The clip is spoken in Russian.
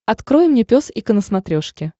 открой мне пес и ко на смотрешке